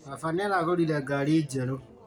Baba nĩaragũrire ngari njerũ